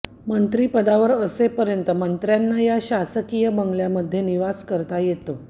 मंत्रीपदावर असेपर्यंत मंत्र्यांना या शासकीय बंगल्यांमध्ये निवास करता येतो